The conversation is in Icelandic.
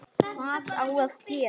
Hvað á gera?